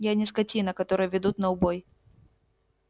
я не скотина которую ведут на убой